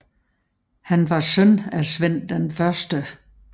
Han var søn af Svend 1